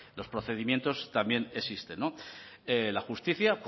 los procedimientos también existen no la justicia